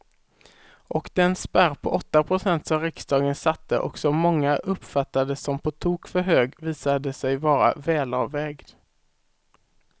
Och den spärr på åtta procent som riksdagen satte och som många uppfattade som på tok för hög visade sig vara välavvägd.